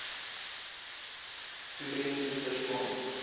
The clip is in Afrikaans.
toerien susters kon